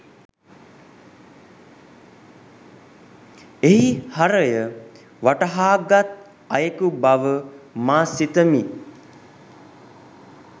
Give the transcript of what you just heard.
එහි හරය වටහාගත් අයෙකු බව මා සිතමි